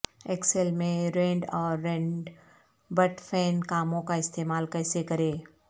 Excel میں RAND اور RAND between کاموں کا استعمال کیسے کریں